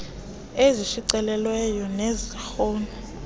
ezishicilelweyo neze elektroni